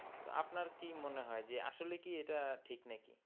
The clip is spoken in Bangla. তা আপনার কি মনে হয় যে আসলে কি এটা ঠিক নাকি?